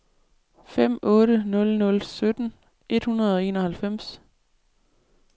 fem otte nul nul sytten et hundrede og enoghalvfems